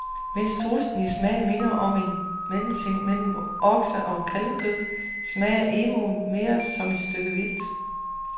Mens strudsen i smag minder om en mellemting mellem okse og kalvekød, smager emuen mere som et stykke vildt.